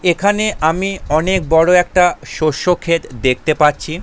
এখানে আমি অনেক বড় একটা শষ্য ক্ষেত দেখতে পাচ্ছি ।